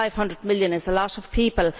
500 million is a lot of people.